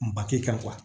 Makɛ kan